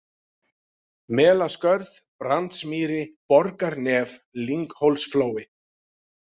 Melaskörð, Brandsmýri, Borgarnef, Lynghólsflói